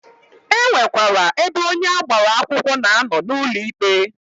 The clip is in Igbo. E nwekwara ebe onye agbara akwụkwọ na-anọ n'ụlọ ikpe.